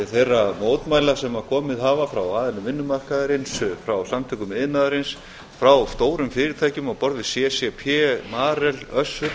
þeirra mótmæla sem komið hafa frá aðilum vinnumarkaðarins frá samtökum iðnaðarins frá stórum fyrirtækjum á borð við ccp marel össur